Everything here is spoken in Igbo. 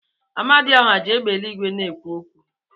Amadioha ji égbè eluigwe na-ekwu okwu.